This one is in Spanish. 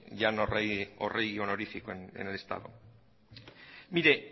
ya no rey o rey honorífico en el estado mire